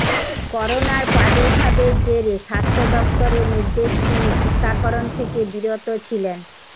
করোনার প্রাদুর্ভাবের জেরে স্বাস্থ্য দফতরের নির্দেশ মেনে টিকাকরণ থেকে বিরত ছিলেন